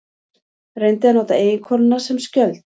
Reyndi að nota eiginkonuna sem skjöld